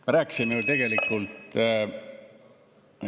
Me rääkisime ju tegelikult ...